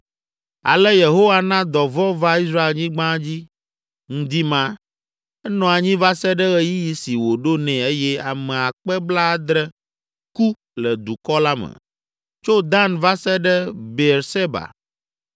Ale Yehowa na dɔvɔ̃ va Israelnyigba dzi ŋdi ma; enɔ anyi va se ɖe ɣeyiɣi si wòɖo nɛ eye ame akpe blaadre (70,000) ku le dukɔ la me, tso Dan va se ɖe Beerseba.